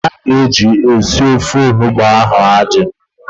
Mmanụ a ga-eji sie ofe onugbo a adịghị.